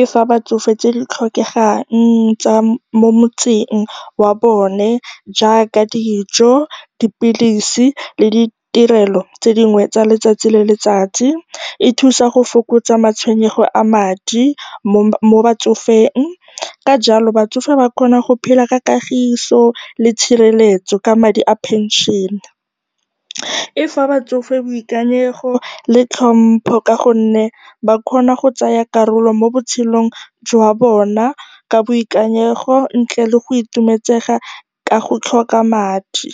e fa batsofe tse di tlhokegang tsa mo motseng wa bone jaaka dijo, dipilisi le ditirelo tse dingwe tsa letsatsi le letsatsi. E thusa go fokotsa matshwenyego a madi mo batsofeng, ka jalo batsofe ba kgona go phela ka kagiso le tshireletso ka madi a pension-e. E fa batsofe boikanyego le tlhompho ka gonne ba kgona go tsaya karolo mo botshelong jwa bona ka boikanyego ntle le go itumetsega ka go tlhoka madi.